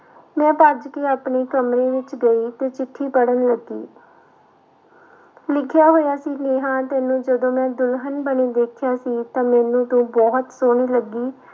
ਮੈਂ ਭੱਜ ਕੇ ਆਪਣੇ ਕਮਰੇ ਵਿੱਚ ਗਈ ਤੇ ਚਿੱਠੀ ਪੜ੍ਹਨ ਲੱਗੀ ਲਿਖਿਆ ਹੋਇਆ ਸੀ ਨੇਹਾਂ ਤੈਨੂੰ ਜਦੋਂ ਮੈਂ ਦੁਲਹਨ ਬਣੀ ਦੇਖਿਆ ਸੀ ਤਾਂ ਮੈਨੂੰ ਤੂੰ ਬਹੁਤ ਸੋਹਣੀ ਲੱਗੀ।